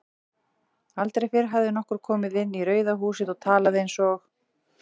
Aldrei fyrr hafði nokkur komið inn í Rauða húsið og talað einsog